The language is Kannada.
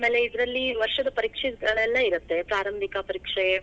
ಆಮೇಲೆ ಇದ್ರಲ್ಲಿ ವರ್ಷದ್ ಪರೀಕ್ಷೆಗಳೆಲ್ಲಾ ಇರತ್ತೆ, ಪ್ರಾರಂಭಿಕಾ ಪರೀಕ್ಷೆ.